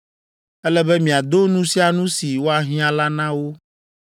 Ele be miado nu sia nu si woahiã la na wo.